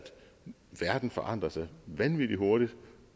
verden forandrer sig vanvittig hurtigt